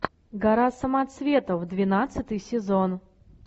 гора самоцветов двенадцатый сезон